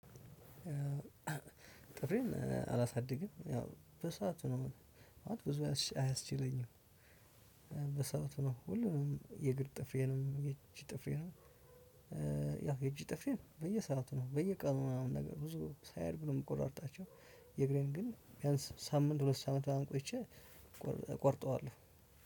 ጥፍሬን አላሳድግም ያው በሰአቱ ነው ማለት ነው ብዙ አያስች አያስችለኝም። በሰአቱ ነው ሁሉንም የእግር ጥፍሬንም የእጅ ጥፍሬንም። ያው የእጅ ጥፍሬን በየሰአቱ ነው በየቀኑ ምናምን ነገር ብዙ ሳይያድግ ነው የምቆራርጣቸው። የእግሬን ግን ቢያንስ ሳምንት ሁለት ሳምንት ምናምን ቆይቼ ቆርጠዋለሁ።